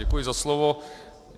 Děkuji za slovo.